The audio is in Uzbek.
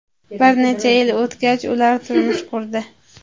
Bir necha yil o‘tgach, ular turmush qurdi.